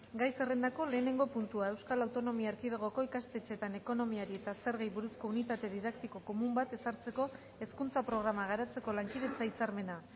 gai zerrendako lehenengo puntua euskal autonomia erkidegoko ikastetxeetan ekonomiari eta zergei buruzko unitate didaktiko komun bat ezartzeko hezkuntza programa garatzeko lankidetza hitzarmena